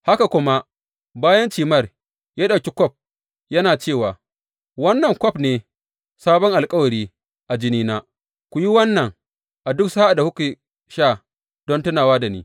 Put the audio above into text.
Haka kuma bayan cimar, ya ɗauki kwaf, yana cewa, Wannan kwaf ne sabon alkawari a jinina; ku yi wannan, a duk sa’ad da kuke sha, don tunawa da ni.